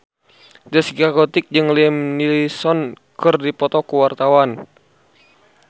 Zaskia Gotik jeung Liam Neeson keur dipoto ku wartawan